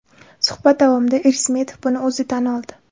Suhbat davomida Irismetov buni o‘zi tan oldi.